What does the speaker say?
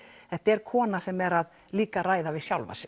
þetta er kona sem er líka að ræða við sjálfa sig